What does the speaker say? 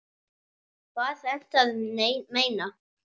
Hvað ertu að meina?